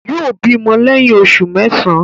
Yóò bímọ lẹ́yìn oṣù mẹ́sàán.